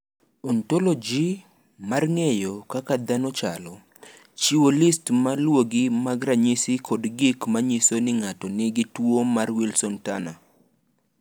"Ontoloji mar ng’eyo kaka dhano chalo, chiwo list ma luwogi mag ranyisi kod gik ma nyiso ni ng’ato nigi tuwo mar Wilson Turner."